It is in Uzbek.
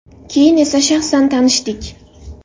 Keyin esa shaxsan tanishdik.